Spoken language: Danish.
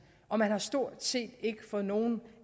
og man har stort set ikke fået nogen